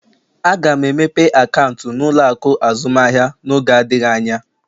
Aga m emepe akaụntụ na ụlọ akụ azụmaahịa n'oge adịghị anya